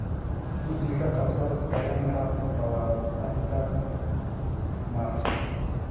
kursi ka qabsato tareenka lawatan -ka Maarso